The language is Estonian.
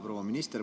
Proua minister!